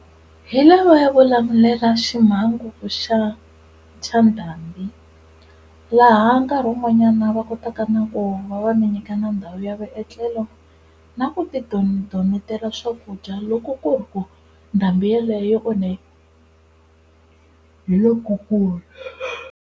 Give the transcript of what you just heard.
Hi lavaya vo lamulela ximhangu xa xa ndhambi laha nkarhi wun'wanyana va kotaka na ku va va mi nyika na ndhawu ya vuetlelo na ku ti tidonetela swakudya loko ku ri ku ndhambi yaleyo yi onhe hi lokukulu.